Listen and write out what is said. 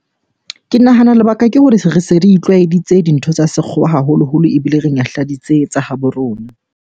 Ke nahana lebaka ke hore se re itlwaetse dintho tsa sekgowa haholoholo ebile re nyahladitse tsa habo rona.